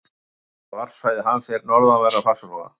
Annað helsta varpsvæði hans er við norðanverðan Faxaflóa.